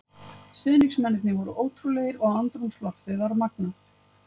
Stuðningsmennirnir voru ótrúlegir og andrúmsloftið var magnað.